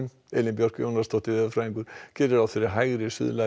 Elín Björk Jónasdóttir veðurfræðingur gerir ráð fyrir hægri